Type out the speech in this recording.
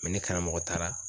ne karamɔgɔ taara